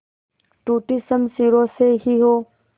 टूटी शमशीरों से ही हो